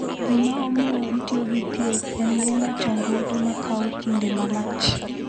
Gima omiyo itiyo gi thieth en geng’o chandruoge ma kawo kinde malach.